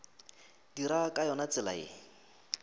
dira ka yona tsela ye